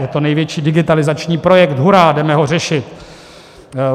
Je to největší digitalizační projekt, hurá, jdeme ho řešit.